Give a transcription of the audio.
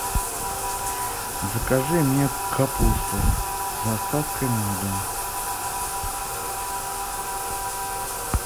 закажи мне капусту с доставкой на дом